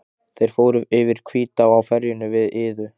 Þeir fóru yfir Hvítá á ferjunni við Iðu.